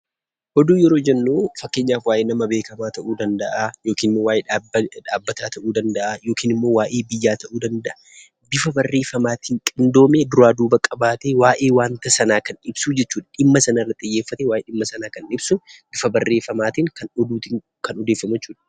Oduu duri yeroo jennu; fakkeenyaaf waa'ee nama beekkama ta'u danda'aa, yookin waa'ee dhaabbata ta'u danda'aa, yookin waa'ee biyya ta'u danda'aa, bifa baarreeffamatin qindoome duraa duuba qabaate waa'ee wanta saana kan ibsuu jechuudha. Dhimmaa sana irraa xiyyeeffaate waa'ee dhimma Sanaa Kan ibsuu bifa barreeffamatin Kan oduutin Kan odeessamuu jechuudha.